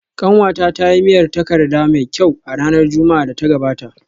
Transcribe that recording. Kanwata ta yi miyar takarda mai kyau a ranar Juma’ar da ta gabata